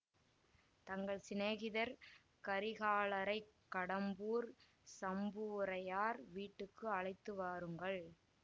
தங்கள் சிநேகிதர் கரிகாலரைக் கடம்பூர் சம்புவுரையார் வீட்டுக்கு அழைத்து வாருங்கள்